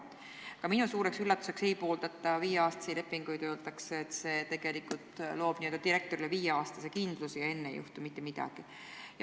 Ka minu suureks üllatuseks ei pooldata viieaastaseid lepinguid ja öeldakse, et see tegelikult loob direktorile n-ö viieaastase kindluse ja enne ei juhtu mitte midagi.